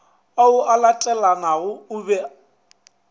ao a latelanago o be